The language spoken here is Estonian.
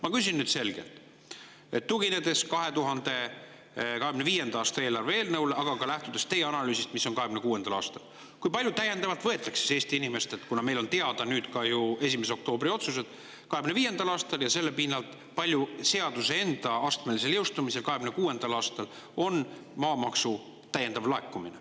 Ma küsin nüüd selgelt: tuginedes 2025. aasta eelarve eelnõule, aga lähtudes ka teie analüüsist selle kohta, mis on 2026. aastal, kui palju võetakse Eesti inimestelt täiendavalt 2025. aastal – meil on nüüd ju teada ka 1. oktoobri otsused –, ja selle pinnalt, kui palju maamaksu laekub täiendavalt seaduse astmelise jõustumise järel 2026. aastal?